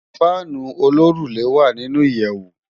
Fànú ólórùlé lé wá ninú iyèwú